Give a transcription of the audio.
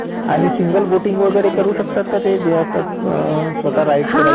आणि single boating वगैरे करू शकतात का ते जे आपण बिचवर जातो ना? स्वतः राईड करत असतो.